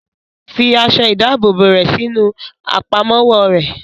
Fi aṣọ ìdábòbò rẹ̀ sí inú Àpámọ́wọ́ rẹ̀!